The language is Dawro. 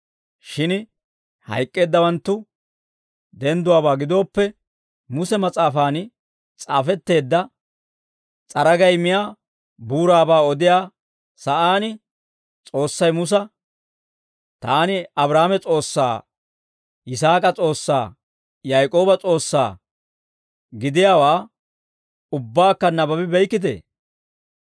Shin hayk'k'eeddawanttu dendduwaabaa gidooppe, Muse mas'aafan s'aafetteedda s'aragay miyaa buuraabaa odiyaa sa'aan, S'oossay Musa, ‹Taani Abraahaame S'oossaa, Yisaak'a S'oossaa, Yaak'ooba S'oossaa› gidiyaawaa ubbakka nabbabi beykkitee?